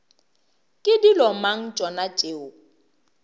ke dilo mang tšona tšeo